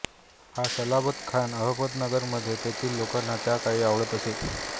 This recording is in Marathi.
हा सलाबतखान अहमदनगरमध्ये तेथील लोकांना त्या काळी आवडत असे